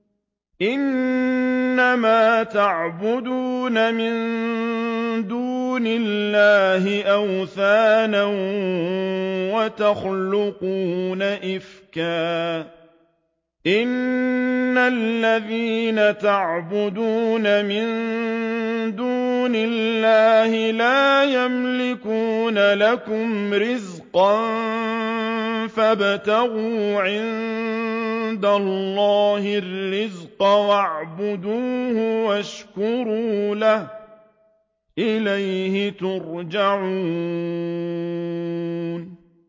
إِنَّمَا تَعْبُدُونَ مِن دُونِ اللَّهِ أَوْثَانًا وَتَخْلُقُونَ إِفْكًا ۚ إِنَّ الَّذِينَ تَعْبُدُونَ مِن دُونِ اللَّهِ لَا يَمْلِكُونَ لَكُمْ رِزْقًا فَابْتَغُوا عِندَ اللَّهِ الرِّزْقَ وَاعْبُدُوهُ وَاشْكُرُوا لَهُ ۖ إِلَيْهِ تُرْجَعُونَ